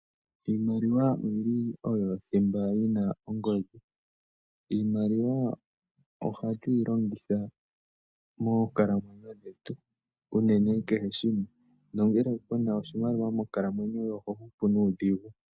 Iimaliwa oyili oyo thimba yi na ongodhi. Iimaliwa ohatu yi longitha moonkalamwenyo dhetu unene kehe shimwe, nongele kuna oshimaliwa monkalamwenyo yoye oho hupu nuudhigu.